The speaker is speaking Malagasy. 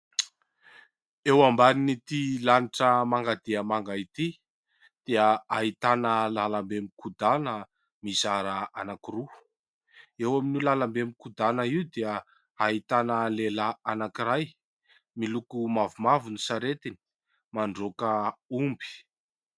Eo ambanin'ity lanitra manga dia manga ity dia ahitana lalambe mikodana mizara anankiroa. Eo amin'io lalambe mikodana io dia ahitana lehilahy anankiray, miloko mavomavo ny saretiny, mandroaka omby.